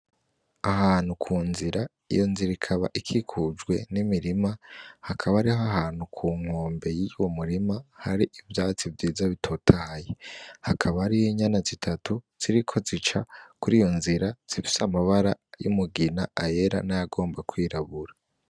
Ahantu ku nzira, iyo nzira ikaba ikikujwe n'imirima, hakaba hari ahantu ku nkombe y'uwo murima hari ivyatsi vyiza bitotahaye, hakaba hari inyana zitatu ziriko zica kuri iyo nzira zifise amabara y'umugina, ayera n'ayagomba kwirabura.